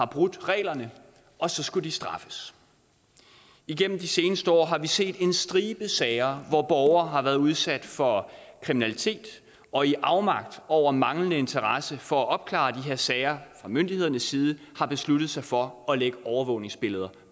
brudt reglerne og så skulle de straffes igennem de seneste år har vi set en stribe sager hvor borgere har været udsat for kriminalitet og i afmagt over manglende interesse for at opklare de her sager fra myndighedernes side har besluttet sig for at lægge overvågningsbilleder